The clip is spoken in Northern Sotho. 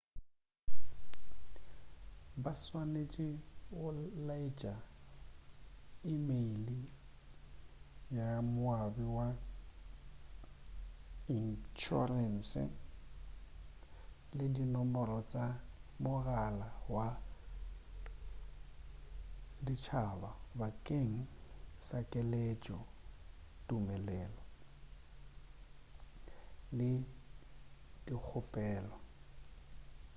ba swanetše go laetša emeile ya moabi wa inšhorense le dinomoro tša mogala wa ditšhaba bakeng sa keletšo/tumeleo le go dikgopelo